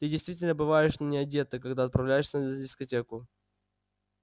ты действительно бываешь не одета когда отправляешься на дискотеку